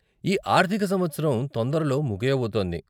ఈ ఆర్ధిక సంవత్సరం తొందరలో ముగియబోతోంది.